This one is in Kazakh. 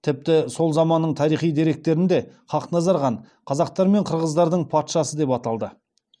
тіпті сол заманның тарихи деректерінде хақназар хан қазақтар мен қырғыздардың патшасы деп аталды